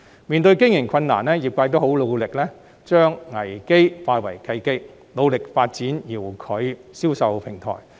面對經營困難，業界都很努力將危機化為契機，努力發展遙距銷售平台。